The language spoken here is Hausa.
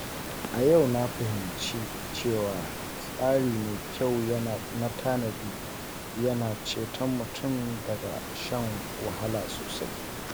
A yau, na fahimci cewa tsari mai kyau na tanadi yana ceton mutum daga shan wahala sosai.